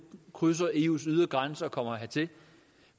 krydser eus ydre grænser og kommer hertil ikke